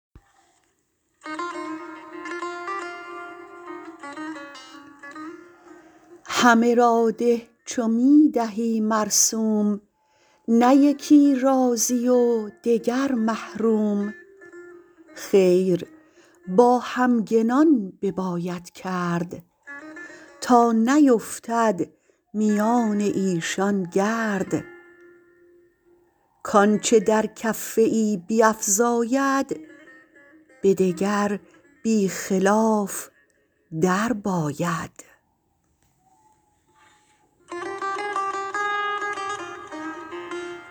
همه را ده چو می دهی موسوم نه یکی راضی و دگر محروم خیر با همگنان بباید کرد تا نیفتد میان ایشان گرد کانچه در کفه ای بیفزاید به دگر بیخلاف درباید